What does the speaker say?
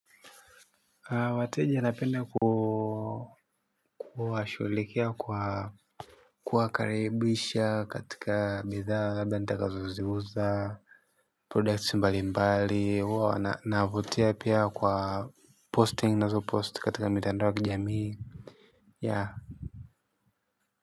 Wateja napenda kuwashughulikia kwa kuwakaribisha kwa bidhaa labda nitakazoziuza. Products mbalimbali, huwa navutia pia kwa posting na zile post katika mitandao ya kijamii ya.